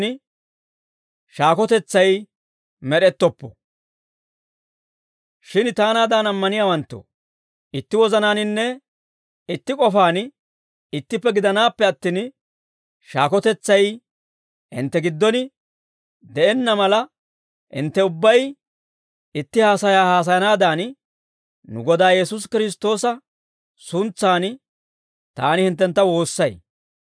Shin taanaadan ammaniyaawanttoo, itti wozanaaninne itti k'ofaan ittippe gidanaappe attin, shaakotetsay hintte giddon de'enna mala, hintte ubbay itti haasayaa haasayanaadan, nu Godaa Yesuusi Kiristtoosa suntsan taani hinttentta woossay.